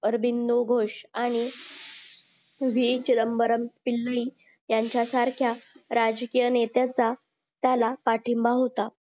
आर्बीनोघोष आणि यांच्या सारख्या राजकीय नेत्याचा त्याला पाठिंबा होता